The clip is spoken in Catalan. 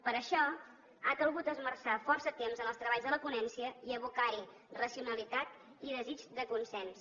per això ha calgut esmerçar força temps en els treballs de la ponència i abocar hi racionalitat i desig de consens